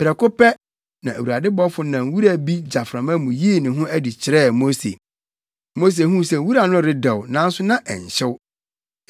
Prɛko pɛ, na Awurade bɔfo nam wura bi gyaframa mu yii ne ho adi kyerɛɛ Mose. Mose huu sɛ wura no redɛw nanso na ɛnhyew.